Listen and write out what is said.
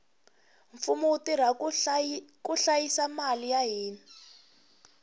mfumo wu tirha ku hlayisa mali ya hina